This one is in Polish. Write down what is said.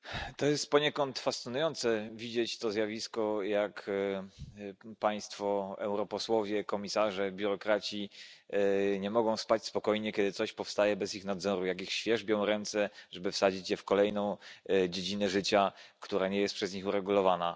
Pani Przewodnicząca! To jest poniekąd fascynujące widzieć to zjawisko, jak państwo europosłowie, komisarze, biurokraci nie mogą spać spokojnie, kiedy coś powstaje bez ich nadzoru, jak ich świerzbią ręce, żeby wsadzić je w kolejną dziedzinę życia, która nie jest przez nich uregulowana.